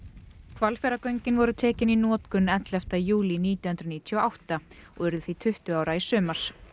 Hvalfjarðargöngin voru tekin í notkun ellefta júlí nítján hundruð níutíu og átta og urðu því tuttugu ára í sumar